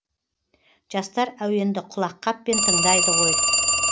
жастар әуенді құлаққаппен тыңдайды ғой